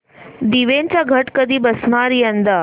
देवींचे घट कधी बसणार यंदा